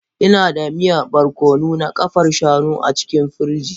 Ina da miya barkono na ƙafar shanu a cikin firij.